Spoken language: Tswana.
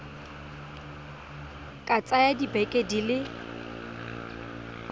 ka tsaya dibeke di le